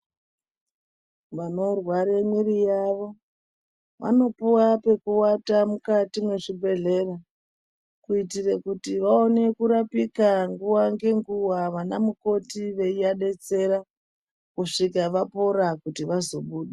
Vanorwara miri yavo vanopuwa pekuata mukati mwezvibhedhlera kuitira kuti vaone kurapika ngenguwa ana mukoti veivadetsera kusvika vapora kuti vazobuda.